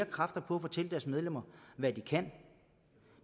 kræfter på at fortælle deres medlemmer hvad de kan